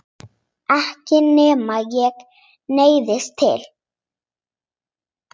Ekki nema ég neyðist til.